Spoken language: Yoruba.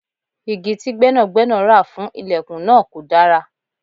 Igi tí gbẹ́nàgbẹ́nà ra fún ìlẹ̀kùn náà kò dára.